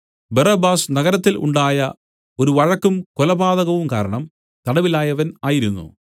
Barabbas നഗരത്തിൽ ഉണ്ടായ ഒരു വഴക്കും കൊലപാതകവും കാരണം തടവിലായവൻ ആയിരുന്നു